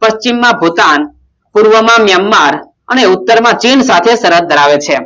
પશ્ચિમ માં ભૂટાન પૂર્વમાં મ્યાનમાર અને ઉત્તર માં ચીન સાથે સરહદ ધરાવે છે